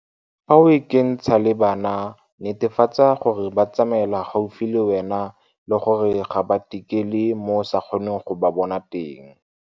Fa o ikentsha le bana, netefatsa gore ba tsamaela gaufi le wena le gore ga ba tikele mo o sa kgoneng go ba bona teng.